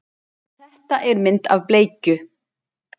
Þetta er mynd af bleikju.